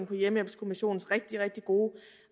på hjemmehjælpskommissionens rigtig rigtig gode